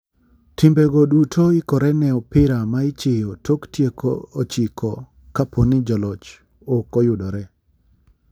Timbe go duto ikore ne opira ma ichiyo tok tieko ochiko kaponi jaloch ok oyudore .